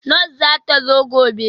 Nurse zata zo gobe